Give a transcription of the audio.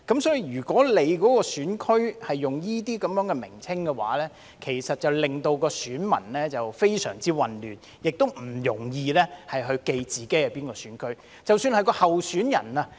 所以，如果選區用這些名稱，其實會令選民非常混亂，亦不容易記住自己屬於哪個選區。